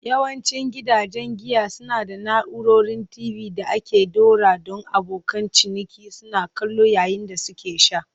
Yawancin gidajen giya suna da na'urorin TV da aka ɗora don abokan ciniki suna kallo yayin da suke sha.